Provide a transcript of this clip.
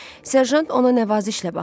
Serjant ona nəvazişlə baxdı.